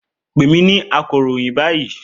Pè mí ní akọ̀ròyìn báyìí!